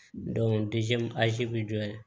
bɛ jɔ yen